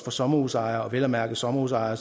sommerhusejere vel at mærke sommerhusejere